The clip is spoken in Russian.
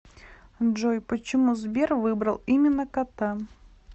джой почему сбер выбрал именно кота